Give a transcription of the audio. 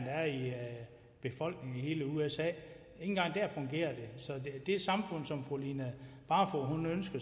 end i usa fungerer det så det samfund som fru line barfod